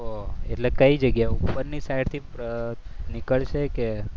ઓ એટલે કઈ જગ્યા ઉપરથી ઉપરની સાઈડથી નીકળશે કે